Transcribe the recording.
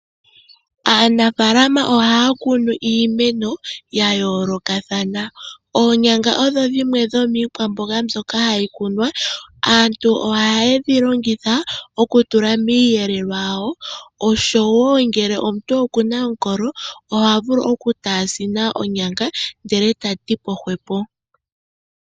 Aanafaalama ohaya kunu iimeno ya yoolokathana. Oonyanga odho dhimwe dhomiikwamboga mbyoka hayi kunwa .Aantu ohaye dhi longitha okutula miiyelelwa yawo oshowo ngele omuntu okuna omukolo ohavulu oku taasina onyanga ndele ta tipo hwepo.